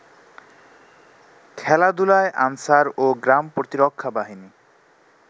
খেলাধুলায় আনসার ও গ্রাম প্রতিরক্ষা বাহিনী